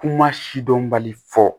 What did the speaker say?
Kuma si dɔnbali fɔ